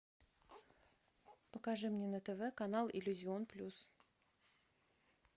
покажи мне на тв канал иллюзион плюс